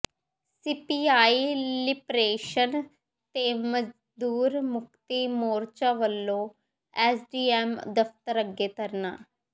CPI liberation ਤੇ ਮਜ਼ਦੂਰ ਮੁਕਤੀ ਮੋਰਚਾ ਵੱਲੋਂ ਐਸਡੀਐਮ ਦਫ਼ਤਰ ਅੱਗੇ ਧਰਨਾ